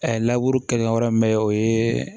kelen ka yɔrɔ min bɛ o ye